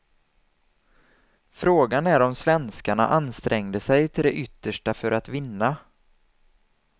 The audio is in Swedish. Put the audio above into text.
Frågan är om svenskarna ansträngde sig till det yttersta för att vinna.